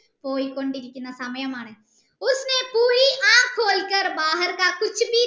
പോയ്‌കൊണ്ടിരിക്കുന്ന സമയമാണ്